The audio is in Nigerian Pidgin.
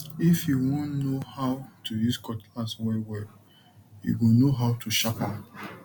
if you won no how to use cutlass wellwell you go no how to sharp am